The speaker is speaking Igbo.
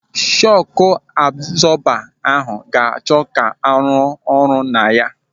Shọku abzọba ahụ ga-achọ ka arụ ọrụ na ya.